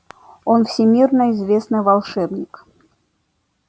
он всемирно известный волшебник